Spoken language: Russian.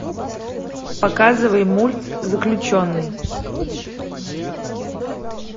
показывай мульт заключенный